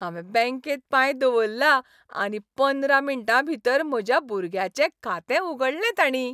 हांवें बॅंकेत पांय दवरला आनी पंदरा मिण्टां भीतर म्हज्या भुरग्याचें खातें उगडलें ताणीं.